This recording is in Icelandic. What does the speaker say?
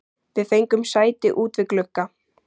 Við fengum sæti út við glugga.